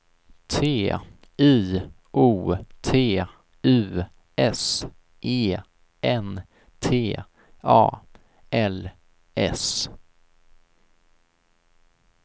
T I O T U S E N T A L S